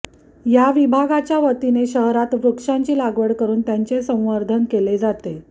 या विभागाच्या वतीने शहरात वृक्षांची लागवड करून त्यांचे संवर्धन केले जाते